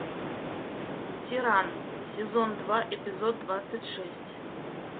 тиран сезон два эпизод двадцать шесть